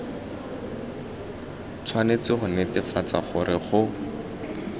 tshwanetse go netefatsa gore go